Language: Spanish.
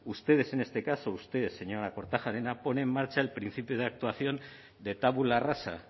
ustedes en este caso usted señora kortajarena pone en marcha el principio de actuación de tabula rasa